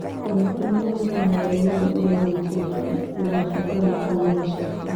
Ona kũrĩ na woiguano oro wothe ũrĩa ũgwĩkĩrĩka ũgabatara kũgie na ciĩko